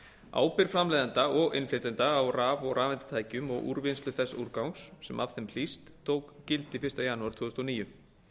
ábyrgð framleiðenda og innflytjenda á raf og rafeindatækjum og úrvinnslu þess úrgangs sem af þeim hlýst tók gildi fyrsta janúar tvö þúsund og níu